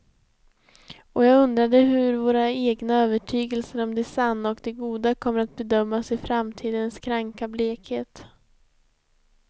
Och jag undrade hur våra egna övertygelser om det sanna och det goda kommer att bedömas i framtidens kranka blekhet.